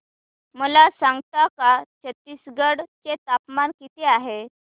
मला सांगता का छत्तीसगढ चे तापमान किती आहे